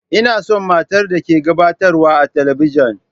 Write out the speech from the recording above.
Ina son matar da ke gabatarwa a talabijin.